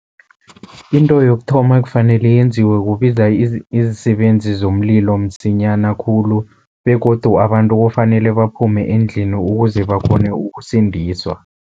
Into yokuthoma ekufanele yenziwe kubiza izisebenzi zomlilo msinyana khulu begodu abantu kufanele baphume endlini, ukuze bakghone ukusindiswa.